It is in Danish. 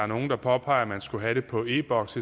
nogle påpeger at man skulle have det på e boks